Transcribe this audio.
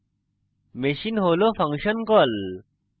machine হল function call